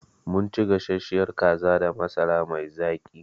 Mun ci gasasshiyar kaza da masara mai zaƙi.